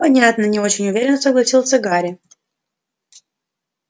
понятно не очень уверенно согласился гарри